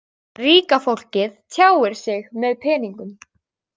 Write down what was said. Ríka fólkið tjáir sig með peningum.